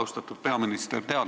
Austatud peaminister!